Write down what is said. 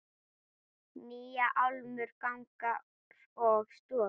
Nýjar álmur, gangar og stofur.